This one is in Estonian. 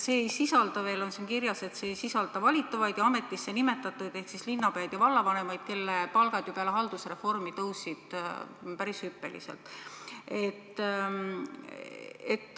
Ja veel on siin kirjas, et see ei sisalda valitavaid ja ametisse nimetatud töötajaid ehk siis linnapäid ja vallavanemaid, kelle palgad peale haldusreformi tõusid hüppeliselt.